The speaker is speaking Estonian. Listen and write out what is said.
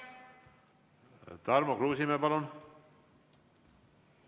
Tarmo Kruusimäe, palun!